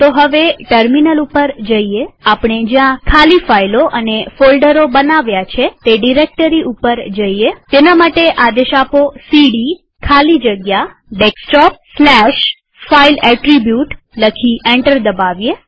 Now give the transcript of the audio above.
તો હવે ટર્મિનલ ઉપર જઈએઆપણે જ્યાં ખાલી ફાઈલો અને ફોલ્ડરો બનાવ્યા છે તે ડિરેક્ટરી ઉપર જઈએતેના માટે સીડી ખાલી જગ્યા ડેસ્કટોપ સ્લેશ ફાઇલ એટ્રીબ્યુટ લખી એન્ટર દબાવીએ